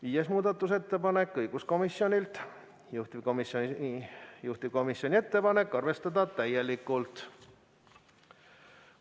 Viies muudatusettepanek on õiguskomisjonilt, juhtivkomisjoni ettepanek: arvestada täielikult.